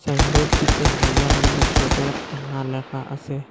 সাইনবোর্ডটিতে Hailakandi সদর থানা লেখা আসে।